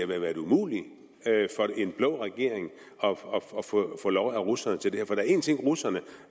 været umuligt for en blå regering at få lov af russerne til det her for der er én ting russerne